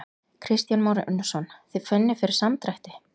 Kristján Már Unnarsson: Þið finnið fyrir samdrætti?